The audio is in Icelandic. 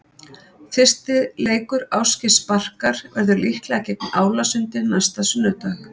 Fyrsti leikur Ásgeirs Barkar verður líklega gegn Álasundi næsta sunnudag.